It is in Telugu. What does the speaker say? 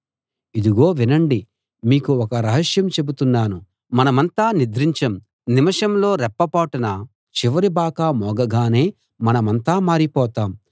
ఇదిగో వినండి మీకు ఒక రహస్యం చెబుతున్నాను మనమంతా నిద్రించం నిమిషంలో రెప్ప పాటున చివరి బాకా మోగగానే మనమంతా మారిపోతాం